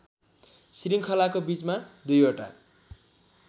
श्रृङ्खलाको बीचमा दुईवटा